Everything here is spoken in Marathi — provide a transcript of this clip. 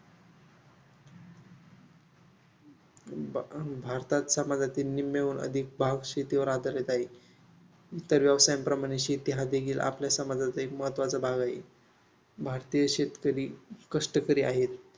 बाभारतात समाजाची निम्म्याहून अधिक भाग शेतीवर आधारित आहे. इतर व्यवसायांप्रमाणे शेती हा देखील आपल्या समाजाचा एक महत्त्वाचा भाग आहे. भारतीय शेतकरी कष्टकरी आहेत.